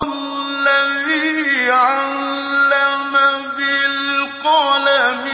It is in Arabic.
الَّذِي عَلَّمَ بِالْقَلَمِ